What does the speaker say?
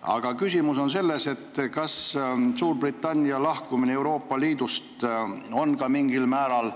Aga minu küsimus on selline: kas Suurbritannia lahkumine Euroopa Liidust on mingil määral